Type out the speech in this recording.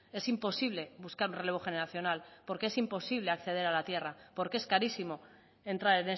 es imposible buscar un relevo generacional porque es imposible acceder a la tierra porque es carísimo entrar